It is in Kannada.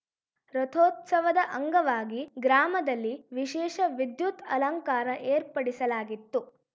ರಥೋತ್ಸವದ ಅಂಗವಾಗಿ ಗ್ರಾಮದಲ್ಲಿ ವಿಶೇಷ ವಿದ್ಯುತ್‌ ಅಲಂಕಾರ ಏರ್ಪಡಿಸಲಾಗಿತ್ತು